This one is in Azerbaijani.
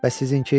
Bəs sizinki?